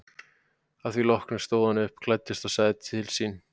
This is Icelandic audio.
Að því loknu stóð hann upp, klæddist og sagði til sín.